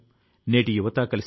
నేను సామాన్యుడి ని